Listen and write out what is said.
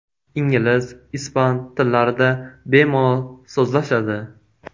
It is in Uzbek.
Ingliz, ispan tillarida bemalol so‘zlashadi.